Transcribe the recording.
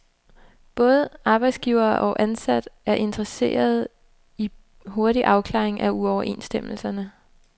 Både arbejdsgiver og ansat er interesserede i hurtig afklaring af uoverensstemmelserne.